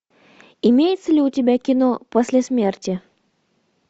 имеется ли у тебя кино после смерти